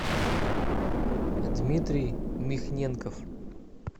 дмитрий михненков